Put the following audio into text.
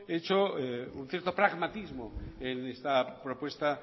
he hecho un cierto pragmatismo en esta propuesta